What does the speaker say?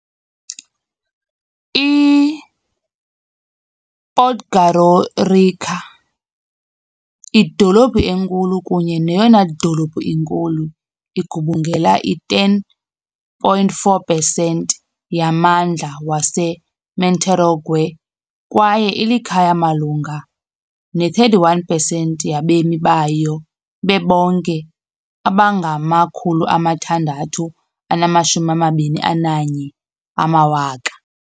I-Podgorica, idolophu enkulu kunye neyona dolophu inkulu, igubungela i-10.4 pesenti yamandla waseMonterogwe , kwaye ilikhaya malunga ne-31 pesenti yabemi bayo bebonke abangama-621,000.